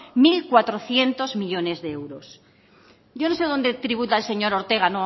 mil cuatrocientos millónes de euros yo no sé dónde tributa el señor ortega